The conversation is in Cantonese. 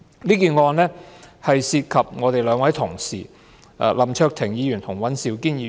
這宗案件涉及我們兩位同事，林卓廷議員和尹兆堅議員。